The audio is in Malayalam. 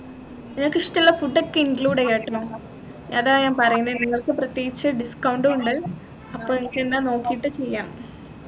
നിങ്ങക്ക് ഇഷ്ടമുള്ള food ഒക്കെ include ചെയ്യാട്ടോ അതാ ഞാൻ പറയുന്ന നിങ്ങൾക്ക് പ്രത്യേകിച്ച് discount ഉണ്ട് അപ്പൊ നിങ്ങക്കെന്താ നോക്കിയിട്ട് ചെയ്യാം